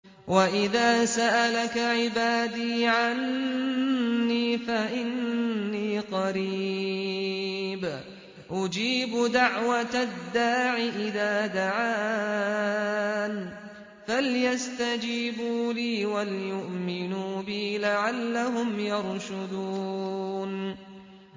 وَإِذَا سَأَلَكَ عِبَادِي عَنِّي فَإِنِّي قَرِيبٌ ۖ أُجِيبُ دَعْوَةَ الدَّاعِ إِذَا دَعَانِ ۖ فَلْيَسْتَجِيبُوا لِي وَلْيُؤْمِنُوا بِي لَعَلَّهُمْ يَرْشُدُونَ